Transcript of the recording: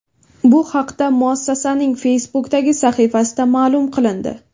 Bu haqda muassasaning Facebook’dagi sahifasida ma’lum qilindi .